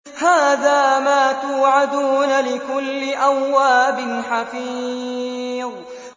هَٰذَا مَا تُوعَدُونَ لِكُلِّ أَوَّابٍ حَفِيظٍ